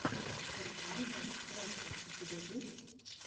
сервайвал раша у тебя есть